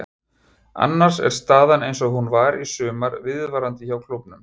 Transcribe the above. Annars er staðan eins og hún var í sumar viðvarandi hjá klúbbnum.